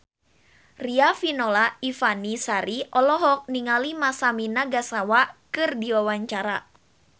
Riafinola Ifani Sari olohok ningali Masami Nagasawa keur diwawancara